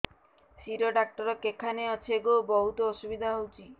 ଶିର doctor କେଖାନେ ଅଛେ ଗୋ ବହୁତ୍ ଅସୁବିଧା ହଉଚି